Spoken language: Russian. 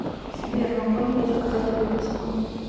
сбер могу ли я заказать выписку